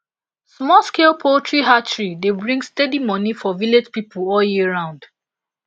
smallscale poultry hatchery dey bring steady money for village pipo all year round